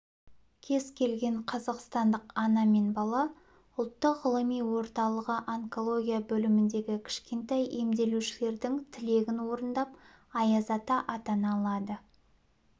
кез келген қазақстандық ана мен бала ұлттық ғылыми орталығы онкология бөліміндегі кішкентай емделушілердің тілегін орындап аяз ата атана алады